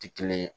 Tɛ kelen ye